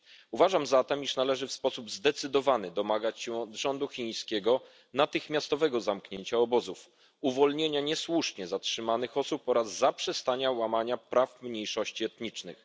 Uważam zatem, iż należy w sposób zdecydowany domagać się od rządu chińskiego natychmiastowego zamknięcia obozów, uwolnienia niesłusznie zatrzymanych osób oraz zaprzestania łamania praw mniejszości etnicznych.